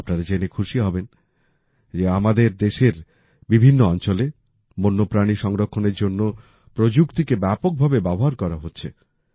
আপনারা জেনে খুশি হবেন যে আমাদের দেশের বিভিন্ন অঞ্চলে বন্যপ্রাণী সংরক্ষণের জন্য প্রযুক্তিকে ব্যাপকভাবে ব্যবহার করা হচ্ছে